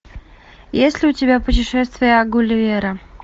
есть ли у тебя путешествия гулливера